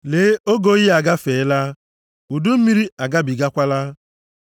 Lee, oge oyi agafeela, udu mmiri agabigakwala.